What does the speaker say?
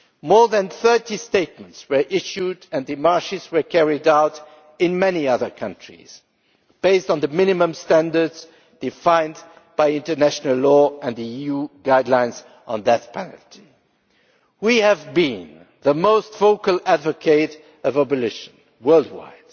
More than 30 statements were issued and demarches were carried out in many other countries, based on the minimum standards defined by international law and the EU guidelines on that penalty. We have been the most vocal advocate of abolition worldwide.